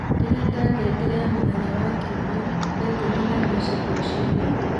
ndĩrenda ngengere ya Mũthenya wa Kiumia, thaa ikũmi na ĩmwe cia rũcinĩ